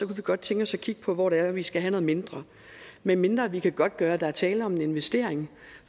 vi godt tænke os at kigge på hvor det er vi skal have noget mindre medmindre vi kan godtgøre at der er tale om en investering